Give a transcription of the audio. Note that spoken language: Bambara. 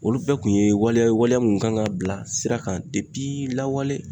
Olu bɛɛ kun ye waliya ye waleya mun kan ka bila sira kan lawale